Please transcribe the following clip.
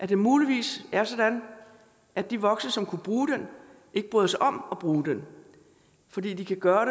det muligvis er sådan at de voksne som kunne bruge den ikke bryder sig om at bruge den fordi de kan gøre